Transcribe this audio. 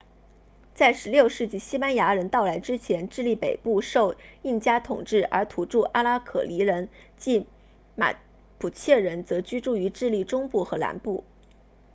在16世纪西班牙人到来之前智利北部受印加统治而土著阿拉可尼人 araucanians 即马普切人则居住于智利中部和南部